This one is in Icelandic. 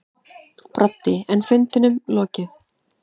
Broddi: En fundinum lokið.